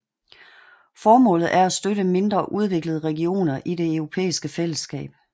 Formålet er at støtte mindre udviklede regioner i det europæiske fællesskab